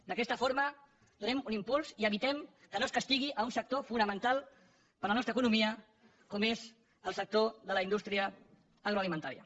d’aquesta forma donem un impuls i evitem que no es castigui un sector fonamental per a la nostra economia com és el sector de la indústria agroalimentària